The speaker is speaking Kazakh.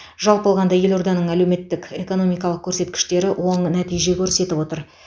жалпы алғанда елорданың әлеуметтік экономикалық көрсеткіштері оң нәтиже көрсетіп отыр